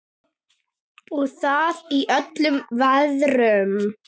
Og það í öllum veðrum.